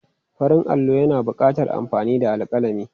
Farin allo yana buƙatar amfani da alƙalami.